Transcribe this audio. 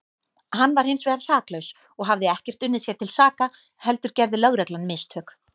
Hann var hinsvegar saklaus og hafði ekkert unnið sér til saka heldur gerði lögreglan mistök.